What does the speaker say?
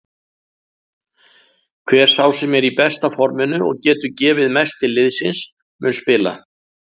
Hver sá sem er í besta forminu og getur gefið mest til liðsins mun spila.